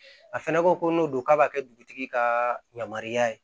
A fɛnɛ ko ko n'o don k'a b'a kɛ dugutigi ka yamaruya ye